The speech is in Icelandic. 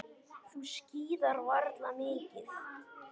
Þú skíðar varla mikið.